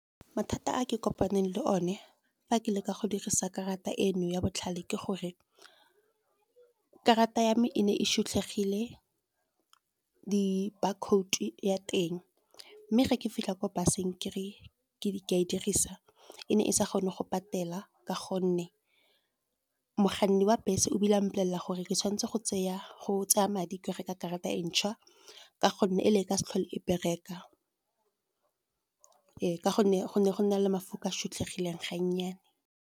Mathata a ke kopaneng le one fa ke leka go dirisa karata eno ya botlhale ke gore, karata ya me e ne e shutlhegile di-brcode ya teng. Mme ge ke fitlha ko bus-eng ke re ke a e dirisa, e ne e sa kgone go patela, ka gonne mokganni wa bese o a mpolelela gore ke tshwanetse go tsaya madi ke reka karata e ntšhwa. Ka gonne e le ka se tlhole e bereka ee ka gonne go na le mafoko a shutlhegileng ga nnyane.